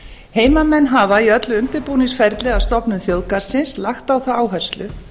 heimamenn hafa í öllu undirbúningsferli að stofnun þjóðgarðsins lagt á það áherslu